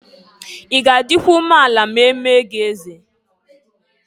I ga adịkwa umeala ma e mee gị eze?